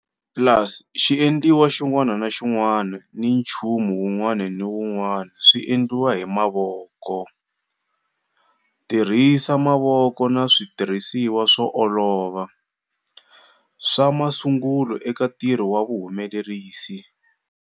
Plus xiendliwa xin'wana ni xin'wana ni nchumu wun'wana ni wun'wana swi endliwa hi mavoko. Tirhisa mavoko na switirhisiwa swo olova, swa masungulo eka ntirho na vuhumelerisi.